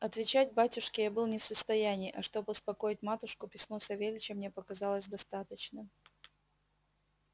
отвечать батюшке я был не в состоянии а чтоб успокоить матушку письмо савельича мне показалось достаточным